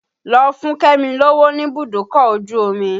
Lọ fún kẹ́mi lówó níbùdókọ̀ ojú omi!